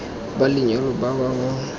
ba lenyalo ba ba mo